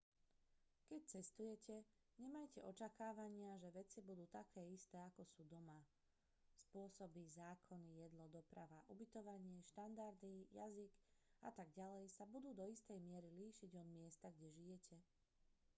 keď cestujete nemajte očakávania že vecí budú také isté ako sú doma spôsoby zákony jedlo doprava ubytovanie štandardy jazyk a tak ďalej sa budú do istej miery líšiť od miesta kde žijete